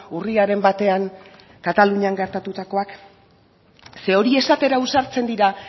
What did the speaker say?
urriaren batean katalunian gertatutakoak ze hori esatera ausartzen dira